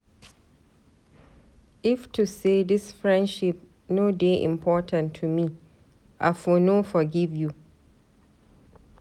If to sey dis friendship no dey important to me, I for no forgive you.